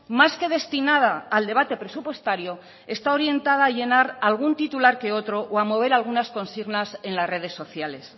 más que destinada al debate presupuestario está orientada a llenar algún titular que otro o a mover algunas consignas en las redes sociales